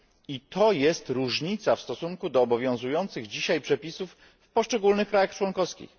I to jest różnica w stosunku do obowiązujących dzisiaj przepisów w poszczególnych państwach członkowskich.